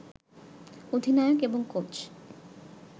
অধিনায়ক এবং কোচ